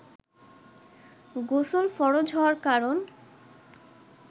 গোসল ফরজ হওয়ার কারন